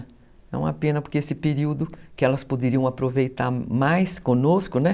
É uma pena porque esse período que elas poderiam aproveitar mais conosco, né?